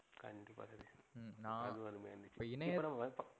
ம்ம் நா